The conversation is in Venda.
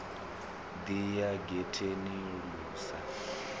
ḓi ya getheni lu sa